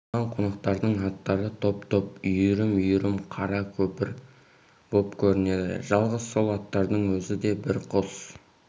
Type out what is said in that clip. жиылған қонақтардың аттары топ-топ үйірім-үйірім қара нөпір боп көрінеді жалғыз сол аттардың өзі де бір қос